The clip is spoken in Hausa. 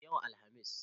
E, yau Alhamis.